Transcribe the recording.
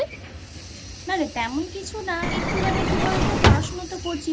না রে তেমন কিছু না একটুখানি কী বল তো পড়াশোনা তো করছি